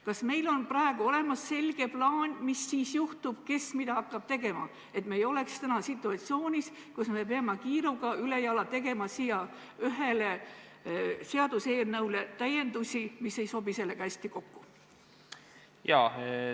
Kas meil on olemas selge plaan, mis siis juhtub, kes mida hakkab tegema, et me ei oleks siis situatsioonis, kus me peame kiiruga, ülejala tegema ühele seaduseelnõule täiendusi, mis ei sobi sellega hästi kokku?